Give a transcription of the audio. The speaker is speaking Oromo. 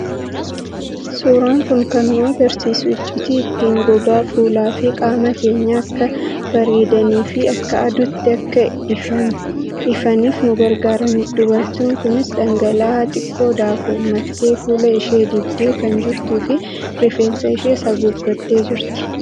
Suuraan kun kan nu argisiisu, iccitii ittiin gogaa fuulaa fi qaama keenyaa akka bareedanii fi akka aduutti akka ifaniif nu gargaaranidha. Dubartiin kunis dhangala'aa xiqqoo daakuun maktee fuula ishee dibdee kan jirtuu fi rifeensa ishees haguuggattee jirti.